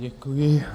Děkuji.